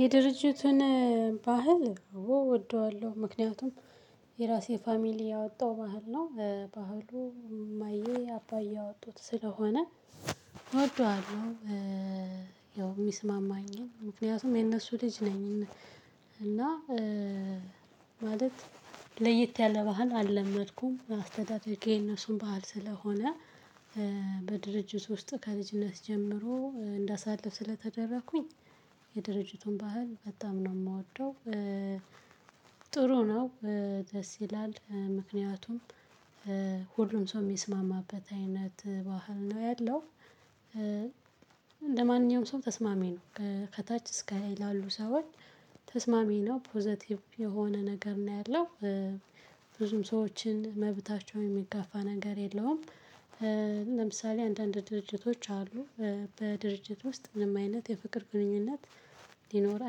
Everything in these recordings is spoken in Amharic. የድርጅቱን ባህል አወ እወደዋለሁ ምክንያቱም የራሴ ፋሚሊ ያወጣው ባህል ነው ባህሉ እማዬ አባዬ ያወጡት ስለሆነ እወደዋለሁ። ያው የሚስማማኝን ምክንያቱም የነሱ ልጅ ነኝ። እና ማለት ለየት ያለ ባህል አልለመድኩም አስተዳደጌ የነሱን ባህል ስለሆነ በድርጅት ውስጥ ከልጅነት ጀምሮ እንዳሳልፍ ስለተደረኩኝ የድርጅቱን ባህል በጣም ነው የምወደው። ጥሩ ነው ደስ ይላል። ምክንያቱም ሁሉም ሰው የሚስማማበት አይነት ባህል ነው ያለው። ለማንኛውም ሰው ተስማሚ ነው። ከታች እስከ ላይ ላሉ ሰዎች ተስማሚ ነው ፖዘቲቭ የሆነ ነገር ነው ያለው። ብዙም ሰዎችን መብታቸውን የሚጋፋ ነገር የለውም። ለምሳሌ አንዳንድ ድርጅቶች አሉ በድርጅት ውስጥ ምንም አይነት የፍቅር ግንኙነት ሊኖር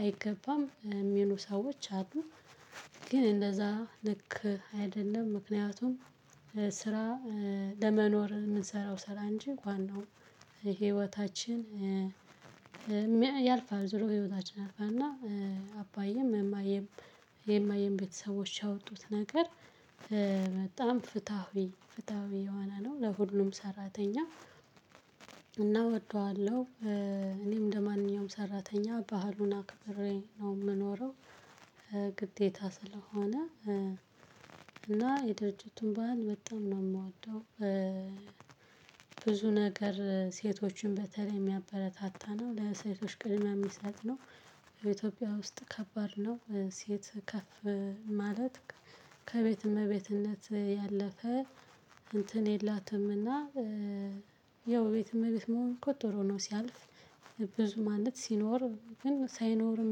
አይገባም የሚሉ ሰዎች አሉ። ግን እንደዛ ልክ አይደለም ምክንያቱም ስራ ለመኖር የምንሰራው ስራ እንጂ ዋናው ህይወታችን። ያልፋል ዙሮ ህይወታችን ያልፋል። እና አባዬም እማየም የማየም ቤተሰቦች ያወጡት ነገር በጣም ፍትሃዊ ፍትሃዊ የሆነ ነው ለሁሉም ሰራተኛ። እና እወደዋለሁ። እኔም እንደማንኛውም ሰራተኛ ባህሉን አክብሬ ነው የምኖረው። ግዴታ ስለሆነ እና የደረጃቱን ባህል በጣም ነው የምወደው። ብዙ ነገር ሴቶችን በተለይም የሚያበረታታ ነው ለሴቶች ቅድሚያ የሚሰጥ ነው። በኢትዮጵያ ውስጥ ከባድ ነው ሴት ከፍ ማለት ከቤት እመቤትነት ያለፈ እንትን የላትምና። ያው ቤት እመቤት መሆን ቆጥሮ ነው ሲያልፍ። ብዙ ማንበት ሲኖር ግን ሳይኖርም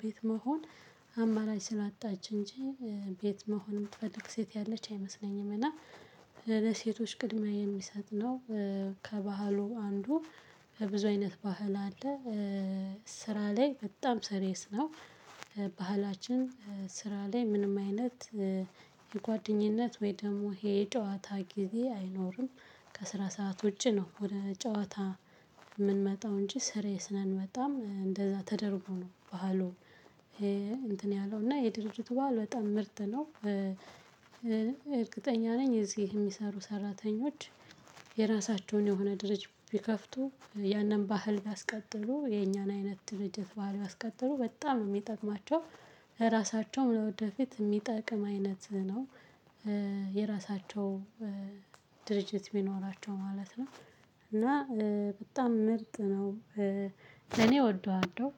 ቤት መሆን አማራጭ ስላጣች እንጂ ቤት መሆን የምትፈልግ ሴት ያለች አይመስለኝም። እና ለሴቶች ቅድሚያ የሚሰጥ ነው። ከባህሉ አንዱ ብዙ አይነት ባህል አለ። ስራ ላይ በጣም ሰሪየስ ነው። ባህላችን ስራ ላይ ምንም አይነት የጓደኝነት ወይ ደግሞ ይሄ ጨዋታ ጊዜ አይኖርም። ከስራ ሰዓት ውጪ ነው ወደ ጨዋታ። የምንመጣው እንጂ ስሬስ ነን በጣም እንደዛ ተደርጎ ነው ባህሉ ይሄ። እንትን ያለው እና የድርጅቱ ባህል በጣም ምርጥ ነው እርግጠኛ ነኝ። እዚህ የሚሰሩ ሰራተኞች የራሳቸውን የሆነ ድርጅት ቢከፍቱ ያንን ባህል አስቀጥሎ የኛን አይነት ድርጀት ባህል ቢያስቀጥሉ በጣም ነው የሚጠቅማቸው። ለራሳቸውም ለወደፊት የሚጠቅም አይነት ነው። የራሳቸው ድርጅት ቢሚኖራቸው ማለት ነው። እና በጣም ምርጥ ነው። ለኔ ወደዋለሁ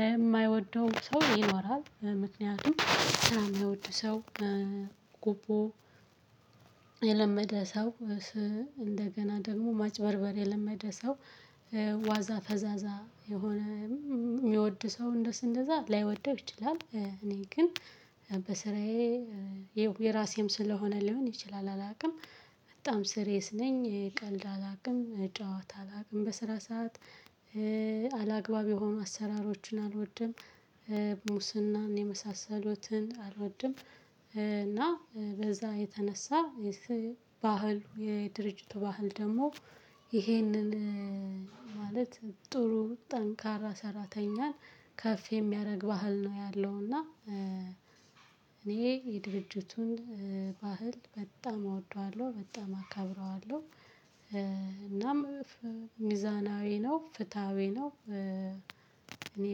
ለማይወደው ሰው ይኖራል ምክንያቱም ምናምን የሚወድ ሰው። ጎቦ። የለመደ ሰው። እንደገና ደግሞ ማጭበርበር የለመደ ሰው። ዋዛ ፈዛዛ የሆነ የሚወድ ሰው እንደስ እንደዛ ላይወደው ይችላል። እኔ ግን በስራዬ የራሴም ስለሆነ ሊሆን ይችላል አላውቅም። በጣም ስሬስ ነኝ ቀልድ አላውቅም ጨዋታ አላውቅም በስራ ሰዓት። አላግባብ የሆኑ አሰራሮችን አልወድም። ሙስናን የመሳሰሉትን አልወድም። እና በዛ የተነሳ የስ ባህሉ የድርጅቱ ባህል ደግሞ ይሄንን ማለት ጥሩ ጠንካራ ሰራተኛን ከፍ የሚያደርግ ባህል ነው ያለውና። እኔ የድርጅቱን ባህል በጣም አወደዋለሁ በጣም አከብረዋለሁ። እናም ሚዛናዊ ነው ፍትሃዊ ነው እኔ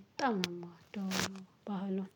በጣም ነው የምወደው ባህሉን